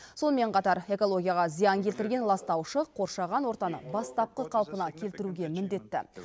сонымен қатар экологияға зиян келтірген ластаушы қоршаған ортаны бастапқы қалпына келтіруге міндетті